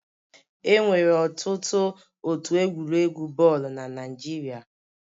Enwere ọtụtụ otu egwuregwu bọọlụ na Naịjirịa.